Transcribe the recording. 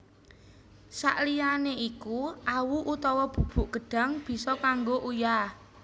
Sakliyané iku awu utawa bubuk gedhang bisa kanggo uyah